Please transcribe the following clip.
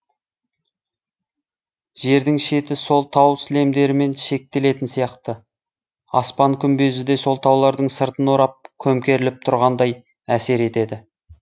жердің шеті сол тау сілемдерімен шектелетін сияқты аспан күмбезі де сол таулардың сыртын орап көмкеріліп тұрғандай әсер етеді